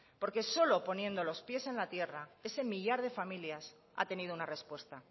porque solo poniendo los pies en la tierra ese millar de familias ha tenido una respuesta